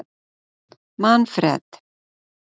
Manfred